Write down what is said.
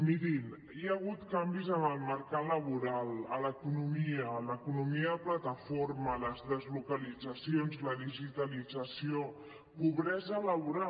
mirin hi ha hagut canvis en el mercat laboral a l’economia a l’economia de plataforma les deslocalitzacions la digitalització pobresa laboral